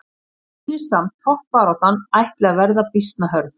Mér sýnist samt toppbaráttan ætli að vera býsna hörð!